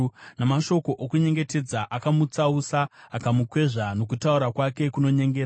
Namashoko okunyengetedza akamutsausa; akamukwezva nokutaura kwake kunonyengera.